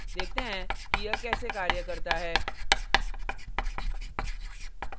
देखते हैं कि यह कैसे कार्य करता है